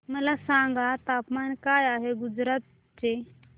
मला सांगा तापमान काय आहे गुजरात चे